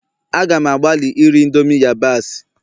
A gam agbalị iri indomie yabasị